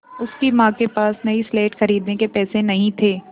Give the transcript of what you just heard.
उसकी माँ के पास नई स्लेट खरीदने के पैसे नहीं थे